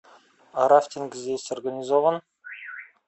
а рафтинг здесь организован